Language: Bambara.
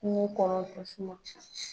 Kungo kɔrɔ tasuma.